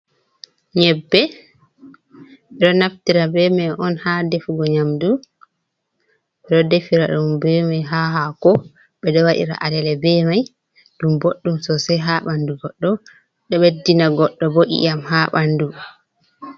Nyebbe ɗo naftira be may on haa defugo nyamdu. Ɗo defira ɗum be may haa haako ,ɓe ɗo waɗira alele be may. Ɗum boɗɗum sosay haa ɓanndu goɗɗo, ɗo ɓeddina goɗɗo bo, ƴiyam haa ɓanndu.